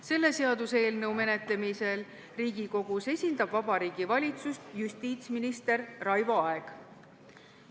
Selle seaduseelnõu menetlemisel Riigikogus esindab Vabariigi Valitsust justiitsminister Raivo Aeg.